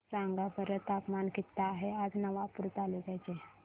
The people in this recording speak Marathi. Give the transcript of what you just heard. सांगा बरं तापमान किता आहे आज नवापूर तालुक्याचे